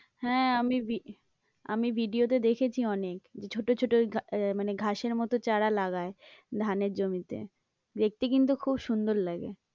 হ্যাঁ, আমি আমি ভিডিওতে দেখেছি অনেক ছোটো ছোটো মানে ঘাসের মতো চারা লাগায়, ধানের জমিতে দেখতে কিন্তু খুব সুন্দর লাগে।